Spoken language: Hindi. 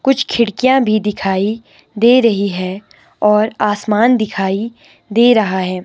कुछ खिड़कियां भी दिखाई दे रही हैं और आसमान दिखाई दे रहा है।